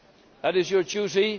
That is your duty